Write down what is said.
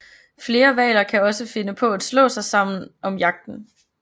Flere hvaler kan også finde på at slå sig sammen om jagten